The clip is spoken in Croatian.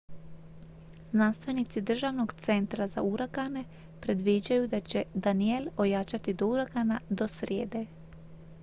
znanstvenici državnog centra za uragane predviđaju da će danielle ojačati do uragana do srijede